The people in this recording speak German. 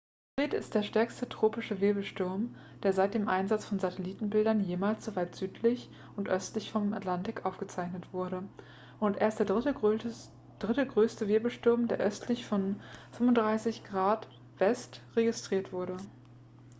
fred ist der stärkste tropische wirbelsturm der seit dem einsatz von satellitenbildern jemals so weit südlich und östlich im atlantik aufgezeichnet wurde und erst der dritte größere wirbelsturm der östlich von 35°w registriert wurde